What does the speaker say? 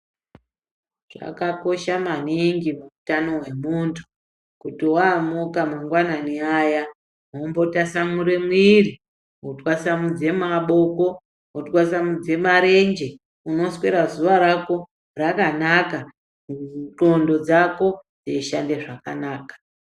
Zvakakosha maningi muutano hwemuntu ,kuti waamuka mangwanani aya, wombo tasamure mwiri ,wotwasamudze maboko, wotwasamudze marenje, unosvera zuwa rako rakanaka, ndxondo dzako dzeishande zvakanaka.